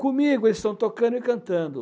Comigo eles estão tocando e cantando.